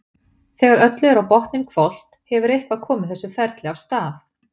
Þegar öllu er á botninn hvolft hefur eitthvað komið þessu ferli af stað.